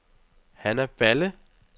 Hanna Balle